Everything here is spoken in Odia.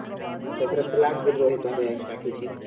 Saladବି ରହିପାରେ extra କିଛି